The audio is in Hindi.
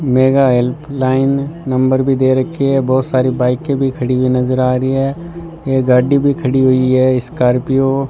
मेगा हेल्पलाइन नंबर भी दे रखी है बहोत सारी बाइके भी खड़ी हुई नजर आ रही है एक गाड़ी भी खड़ी हुई है स्कॉर्पियो ।